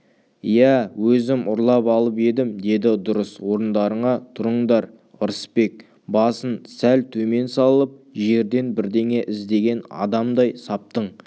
иә өзім ұрлап алып едім деді дұрыс орындарыңа тұрыңдар ырысбек басын сәл төмен салып жерден бірдеңе іздеген адамдай саптың